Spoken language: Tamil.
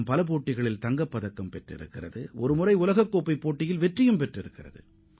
பல்வேறு போட்டிகளில் இந்தியா தங்கப்பதக்கங்களை வென்றிருப்பதுடன் உலக சாம்பியன் பட்டத்தையும் ஒருமுறை வென்றுள்ளது